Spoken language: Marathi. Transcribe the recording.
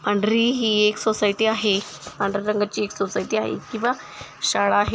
पांढरी ही एक सोसायटी आहे. पांढर्‍या रंगाची एक सोसायटी आहे किंवा शाळा आहे.